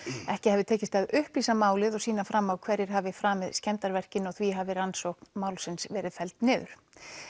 ekki hafi tekist að upplýsa málið og sýna fram á hverjir hafi framið skemmdarverkin og því hafi rannsókn málsins verið felld niður